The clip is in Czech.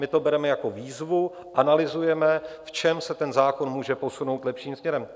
My to bereme jako výzvu, analyzujeme, v čem se ten zákon může posunout lepším směrem.